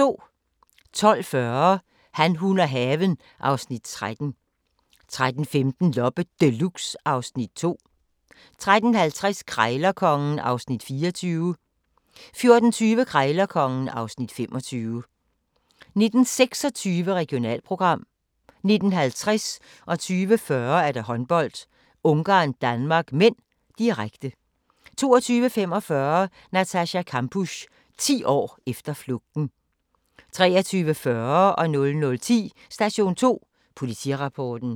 12:40: Han, hun og haven (Afs. 13) 13:15: Loppe Deluxe (Afs. 2) 13:50: Krejlerkongen (Afs. 24) 14:20: Krejlerkongen (Afs. 25) 19:26: Regionalprogram 19:50: Håndbold: Ungarn-Danmark (m), direkte 20:40: Håndbold: Ungarn-Danmark (m), direkte 22:45: Natascha Kampusch - 10 år efter flugten 23:40: Station 2 Politirapporten 00:10: Station 2 Politirapporten